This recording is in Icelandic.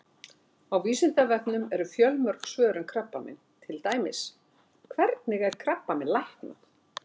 Á Vísindavefnum eru fjölmörg svör um krabbamein, til dæmis: Hvernig er krabbamein læknað?